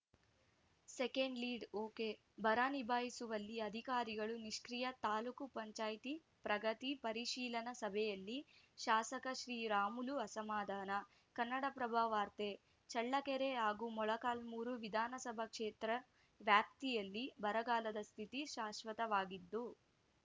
second lead ಒಕೆಬರ ನಿಭಾಯಿಸುವಲ್ಲಿ ಅಧಿಕಾರಿಗಳು ನಿಷ್ಕಿ್ರಯ ತಾಪಂ ಪ್ರಗತಿ ಪರಿಶೀಲನಾ ಸಭೆಯಲ್ಲಿ ಶಾಸಕ ಶ್ರೀರಾಮುಲು ಅಸಮಾಧಾನ ಕನ್ನಡಪ್ರಭ ವಾರ್ತೆ ಚಳ್ಳಕೆರೆ ಚಳ್ಳಕೆರೆ ಹಾಗೂ ಮೊಳಕಾಲ್ಮೂರು ವಿಧಾನಸಭಾ ಕ್ಷೇತ್ರ ವ್ಯಾಪ್ತಿಯಲ್ಲಿ ಬರಗಾಲದ ಸ್ಥಿತಿ ಶಾಶ್ವತವಾಗಿದ್ದು